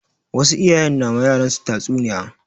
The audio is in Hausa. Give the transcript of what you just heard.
Wasu iyayen na ma yaran su tatsu niya